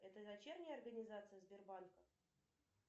это дочерняя организация сбербанка